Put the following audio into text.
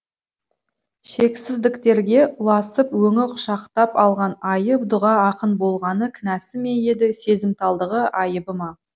шексіздіктерге ұласып өңі құшақтап алған айы дұға ақын болғаны кінәсі ме еді сезімталдығы айыбы ма